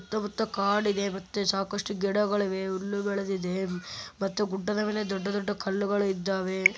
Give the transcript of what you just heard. ಸುತ್ತ ಮುತ್ತ ಕಾಡಿದೆ ಮತ್ತೆ ಸಾಕಷ್ಟು ಗಿಡಗಳಿವೆ ಹುಲ್ಲು ಬೆಳೆದಿದೆ ಮತ್ತೆ ಗುಡ್ಡದ ಮೇಲೆ ದೊಡ್ಡ ದೊಡ್ಡ ಕಲ್ಲುಗಳಿದ್ದಾವೆ.